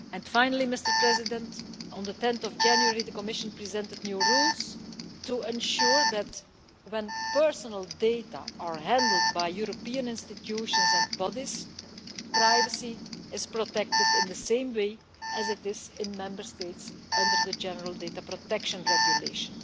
age. Finally, on 10 January the Commission presented new rules to ensure that, when personal data are handled by European institutions and bodies, privacy is protected in the same way as it is in Member States under the General Data Protection Regulation.